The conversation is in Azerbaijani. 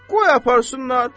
Qoy aparsınlar.